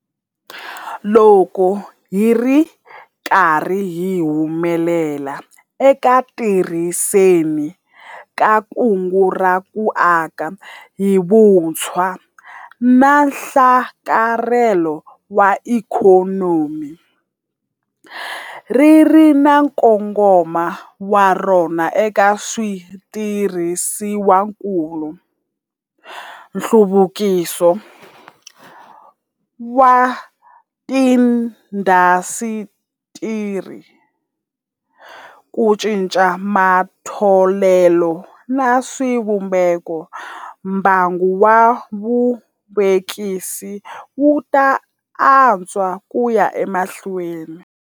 Loko hi ri karhi hi humelela eku tirhiseni ka Kungu ra ku Aka hi Vutshwa na Nhlakarhelo wa Ikhonomi - ri ri na nkongomo wa rona eka switirhisiwakulu, nhluvukiso wa tiindasitiri, ku cinca eka matholelo na swivumbeko - mbangu wa vuvekisi wu ta antswa ku ya emahlweni.